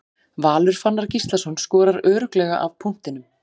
Valur Fannar Gíslason skorar örugglega af punktinum.